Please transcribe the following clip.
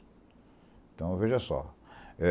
Então, veja só.